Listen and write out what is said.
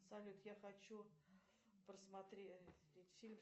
салют я хочу просмотреть фильм